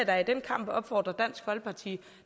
da i den kamp opfordre dansk folkeparti